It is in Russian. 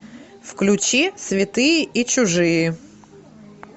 включи святые и чужие